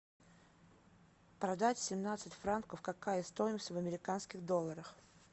продать семнадцать франков какая стоимость в американских долларах